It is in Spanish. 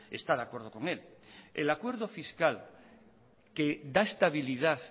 está de acuerdo con él el acuerdo fiscal que da estabilidad